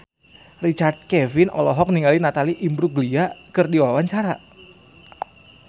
Richard Kevin olohok ningali Natalie Imbruglia keur diwawancara